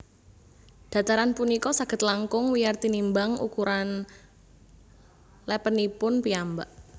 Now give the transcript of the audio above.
Dhataran punika saged langkung wiyar tinimbang ukuran lèpènipun piyambak